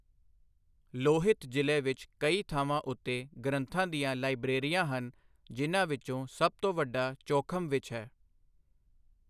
ਲੋਹਿਤ ਜ਼ਿਲ੍ਹੇ ਵਿੱਚ ਕਈ ਥਾਵਾਂ ਉੱਤੇ ਗ੍ਰੰਥਾਂ ਦੀਆਂ ਲਾਇਬ੍ਰੇਰੀਆਂ ਹਨ, ਜਿਨ੍ਹਾਂ ਵਿੱਚੋਂ ਸਭ ਤੋਂ ਵੱਡਾ ਚੌਖਮ ਵਿੱਚ ਹੈ।